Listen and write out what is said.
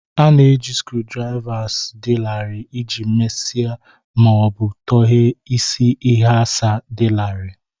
A na-eji screwdrivers dị larịị iji mesie ma ọ bụ tọghee isi ịghasa dị larịị